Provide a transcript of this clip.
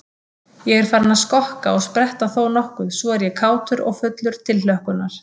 Ég er farinn að skokka og spretta þónokkuð svo ég er kátur og fullur tilhlökkunar.